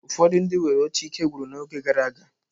Ụfọdụ ndị nwere oche ikegwụrụ n'oge gara aga.